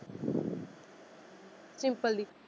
Simple the?